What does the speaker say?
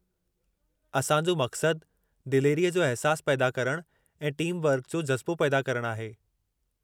असां जो मक़सदु, दिलेरीअ जो अहिसासु पैदा करणु ऐं टीमवर्क जो जज़्बो पैदा करणु आहे।